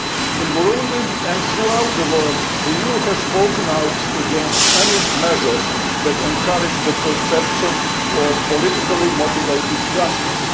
In Burundi, and throughout the world, the EU has spoken out against any measures that encourage the perception of politically motivated justice.